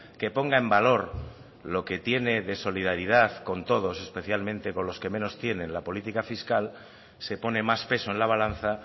que ponga en valor lo que tiene de solidaridad con todos especialmente con los que menos tienen la política fiscal se pone más peso en la balanza